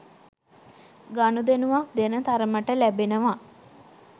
ගනුදෙනුවක්දෙන තරමට ලැබෙනවා